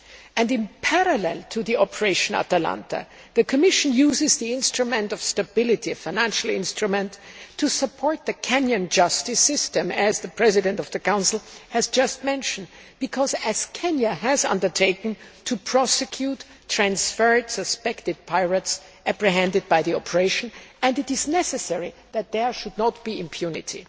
In parallel to the operation ATALANTA, the Commission uses the instrument of stability, a financial instrument, to support the Kenyan justice system as the President of the Council has just mentioned because Kenya has undertaken to prosecute transferred suspected pirates apprehended by the operation, and it is necessary that there should not be impunity.